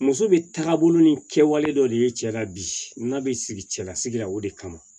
Muso bɛ taaga bolo ni kɛwale dɔ de ye cɛ la bi n'a bɛ sigi cɛlasigi la o de kama